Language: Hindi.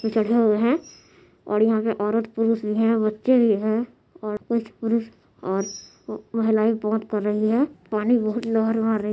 चढ़े हुए है और यहाँ पे औरत पुरुष भी है बच्चे भी है और कुछ पुरुष और महिलाये बात कर रही है पानी बहोत लहर अ--